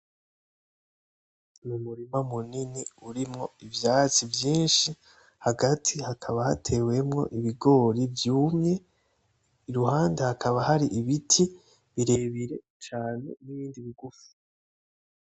Umurima munini urimwo ivyatsi vyinshi hagati hakaba hatewemo ibigori vyumye, iruhande hakaba hari ibiti birebire cane nibindi bigufi.